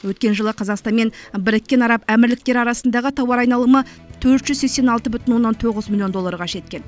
өткен жылы қазақстан мен біріккен араб әмірліктері арасындағы тауар айналымы төрт жүз сексен алты бүтін оннан тоғыз миллион долларға жеткен